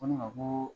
Ko ne ma ko